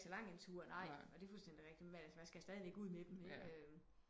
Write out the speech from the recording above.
De går ikke en så lang tur nej og det er fuldstændigt rigtigt men man skal alligevel ud med dem